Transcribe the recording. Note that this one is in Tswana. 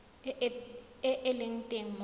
e e leng teng mo